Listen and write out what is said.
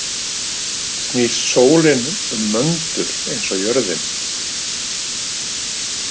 Snýst sólin um möndul eins og jörðin?